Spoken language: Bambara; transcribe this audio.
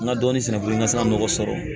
N ka dɔɔnin sɛnɛ fɔlɔ n ka se ka nɔgɔ sɔrɔ